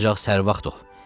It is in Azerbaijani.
Ancaq sərvax dol.